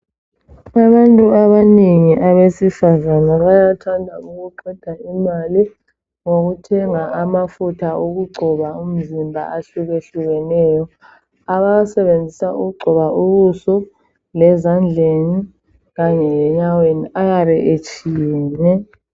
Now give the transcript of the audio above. Abantu abanengi abesifazane bayathanda ukuqeda imali ngokuthenga amafutha okugcoba umzimba ahlukehlukeneyo. Abawasebenzisa ukugqoba ubuso, lezandleni kanye lenyaweni ayabe etshiyene.